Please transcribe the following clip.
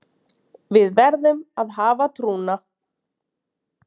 Við verðum að hafa trúna